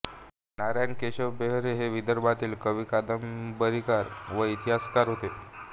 नारायण केशव बेहरे हे विदर्भातील कवी कादंबरीकार व इतिहासकार होते